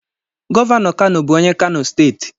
Gọvanọ Kano bụ onye kano steeti.